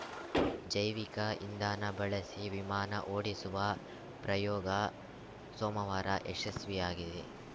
ಜೈವಿಕ ಇಂಧನ ಬಳಸಿ ವಿಮಾನ ಓಡಿಸುವ ಪ್ರಯೋಗ ಸೋಮವಾರ ಯಶಸ್ವಿಯಾಗಿದೆ